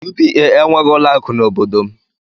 UBA enweghị ụlọ akụ n'obodo m.